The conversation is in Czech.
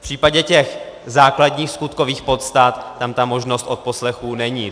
V případě těch základních skutkových podstat tam ta možnost odposlechů není.